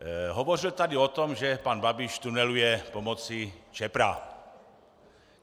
Hovořil tady o tom, že pan Babiš tuneluje pomocí Čepra.